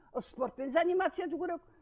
спортпен заниматься ету керек